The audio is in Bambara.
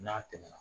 N'a tɛmɛna